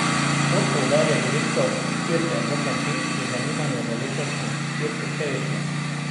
Kot poudarja direktor dirke Bogdan Fink, je zanimanje za letošnjo dirko še večje.